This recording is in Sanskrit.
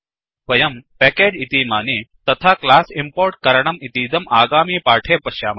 वयं पेकेज् इतीमानि तथा क्लास् इम्पोर्ट् करणं इतीदम् आगामी पाठे पश्यामः